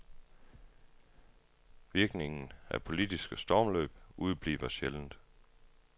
Virkningen af politiske stormløb udebliver sjældent.